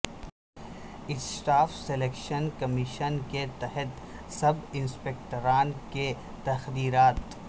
staff selection commission کے تحت sub انسپکٹران کے تقررات